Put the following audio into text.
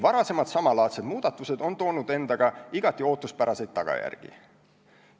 Varasemad samalaadsed muudatused on toonud endaga igati ootuspäraseid tagajärgi.